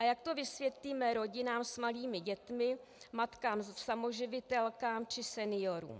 A jak to vysvětlíme rodinám s malými dětmi, matkám samoživitelkám či seniorům?